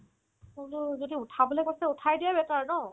বোলো যদি উঠাবলে কষ্ট উঠাই দিয়াই better ন